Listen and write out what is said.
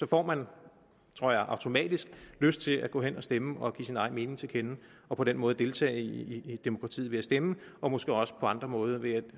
får man tror jeg automatisk lyst til at gå hen og stemme og give sin egen mening til kende og på den måde deltage i demokratiet ved at stemme og måske også på andre måder ved at